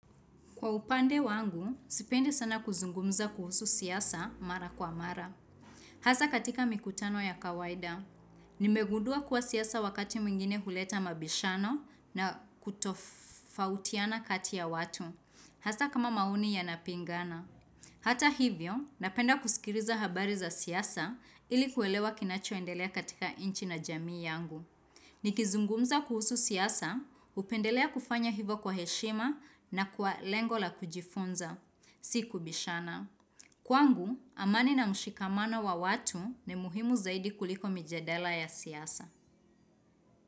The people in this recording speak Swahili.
Kwa upande wangu, sipendi sana kuzungumza kuhusu siasa mara kwa mara. Hasa katika mikutano ya kawaida, nimegundua kwa siasa wakati mwingine huleta mabishano na kutofautiana kati ya watu. Hasa kama maoni ya napingana. Hata hivyo, napenda kusikiliza habari za siasa ili kuelewa kinachoendelea katika nchi na jamii yangu. Nikizungumza kuhusu siasa, upendelea kufanya hivo kwa heshima na kwa lengo la kujifunza, si kubishana. Kwangu, amani na mshikamano wa watu ni muhimu zaidi kuliko mijadala ya siasa.